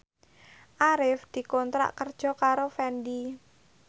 Arif dikontrak kerja karo Fendi